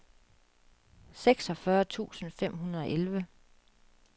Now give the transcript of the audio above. seksogfyrre tusind fem hundrede og elleve